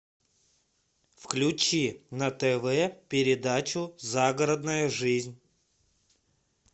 включи на тв передачу загородная жизнь